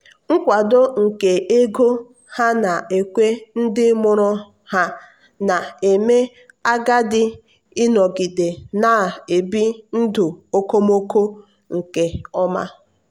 nkwado nke ego ha na-ekwe ndị mụrụ ha na-eme agadi ịnọgide na-ebi ndụ okomoko nke ọma.